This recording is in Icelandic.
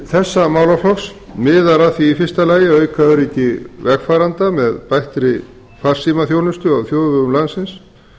þessa málaflokks miðar að því í fyrsta lagi að auka öryggi vegfarenda með bættri farsímaþjónustu á þjóðvegum landsins